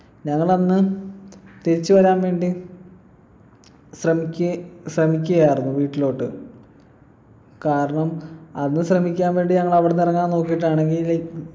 ഞങ്ങളന്ന് തിരിച്ചു വരാൻ വേണ്ടി ശ്രമിക്കെ ശ്രമിക്കയായിരുന്നു വീട്ടിലോട്ട് കാരണം അന്ന് ശ്രമിക്കാൻ വേണ്ടി ഞങ്ങളവിട്ന്ന് ഇറങ്ങാൻ നോക്കീട്ടാണെങ്കില്